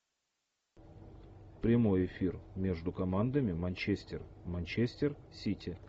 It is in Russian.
прямой эфир между командами манчестер манчестер сити